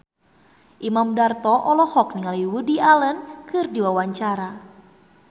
Imam Darto olohok ningali Woody Allen keur diwawancara